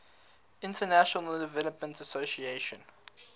international development association